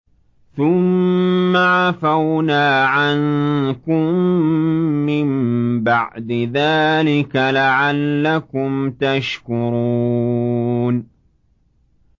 ثُمَّ عَفَوْنَا عَنكُم مِّن بَعْدِ ذَٰلِكَ لَعَلَّكُمْ تَشْكُرُونَ